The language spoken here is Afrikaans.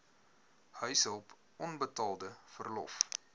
huishulp onbetaalde verlof